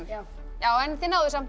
já þið náðuð samt